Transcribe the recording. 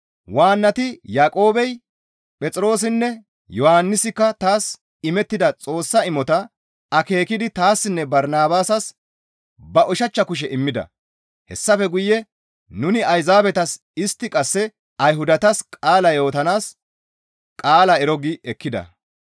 Waannati Yaaqoobey, Phexroosinne Yohannisikka taas imettida Xoossa imotaa akeekidi taassinne Barnabaasas ba ushachcha kushe immida; hessafe guye nuni Ayzaabetas istti qasse Ayhudatas qaala yootanaas qaalaa ero gi ekkida.